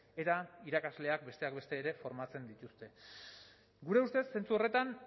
eta irakasleak besteak beste ere formatzen dituzte gure ustez zentzu horretan